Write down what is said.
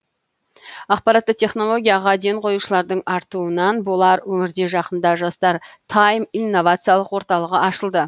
ақпаратты технологияға ден қоюшылардың артуынан болар өңірде жақында жастар тіме инновациялық орталығы ашылды